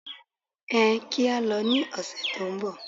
Ẹ kí á lọ ní ọ̀sẹ̀ tó ń bọ̀.